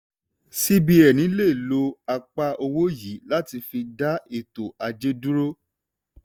cbn lè lo apá owó yìí láti fi dá ètò ajé dúró.